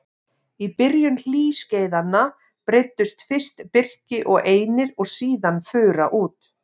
Í byrjun hlýskeiðanna breiddust fyrst birki og einir og síðan fura út.